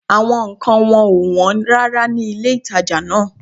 Àwọn nǹkan wọn ò wọ́n rárá ní ilé-ìtàjà náà